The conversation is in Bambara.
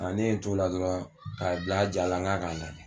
Ne ye n to la dɔrɔn k'a jalan n k'a kana